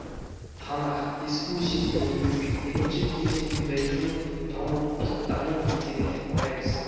танах ескі өсиеттің негізі екінші кезең иудаизмнің талмуттық даму кезеңі деп айтамыз